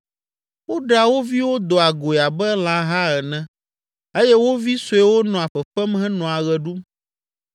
Woɖea wo viwo doa goe abe lãha ene eye wo vi suewo nɔa fefem henɔa ɣe ɖum.